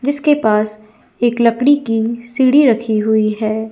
जिसके पास एक लकड़ी की सीढ़ी रखी हुई है।